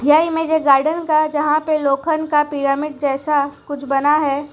यह image garden का जहां पर लोखंड का पिरामिड जैसा कुछ बना है।